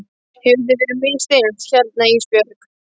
Hefur þér verið misþyrmt hérna Ísbjörg?